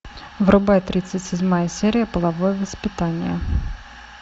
врубай тридцать седьмая серия половое воспитание